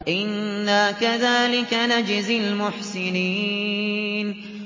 إِنَّا كَذَٰلِكَ نَجْزِي الْمُحْسِنِينَ